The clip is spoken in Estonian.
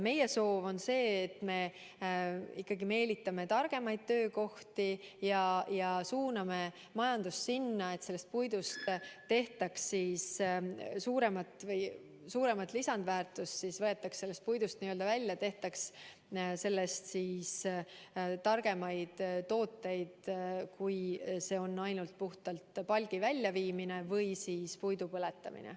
Meie soov on see, et me meelitame sinna targemaid töökohti ja suuname majandust, et sellest puidust võetaks suurem lisandväärtus välja ja tehtaks sellest targemaid tooteid kui ainult puhtalt palgi väljaviimine või puidu põletamine.